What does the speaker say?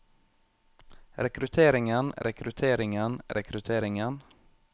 rekrutteringen rekrutteringen rekrutteringen